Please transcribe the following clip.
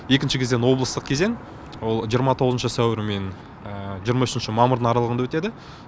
екінші кезең облыстық кезең ол жиырма тоғызыншы сәуір мен жиырма үшінші мамыр аралығанда өтеді